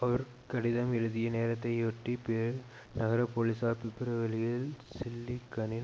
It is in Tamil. அவர் கடிதம் எழுதிய நேரத்தையொட்டி பெரு நகர போலீஸார் பிப்ரவரியில் ஜில்லிகனின்